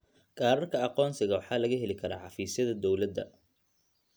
Kaararka aqoonsiga waxaa laga heli karaa xafiisyada dowladda.